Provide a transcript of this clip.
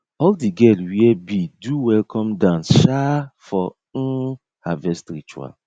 all the girl wear bead do welcome dance sha for um harvest ritual